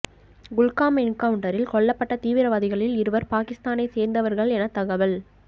குல்காம் என்கவுன்ட்டரில் கொல்லப்பட்ட தீவிரவாதிகளில் இருவர் பாகிஸ்தானை சேர்ந்தவர்கள் என தகவல்